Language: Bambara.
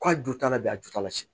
K'a ju ta la bi a ju t'ala sɛn